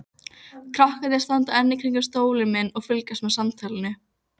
Krakkarnir standa enn kringum stólinn minn og fylgjast með samtalinu.